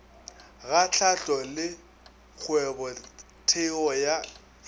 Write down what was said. ga hlahlo le kgwebotheo ya